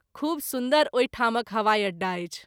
खूब सुन्दर ओहि ठामक हवाई अड्डा अछि।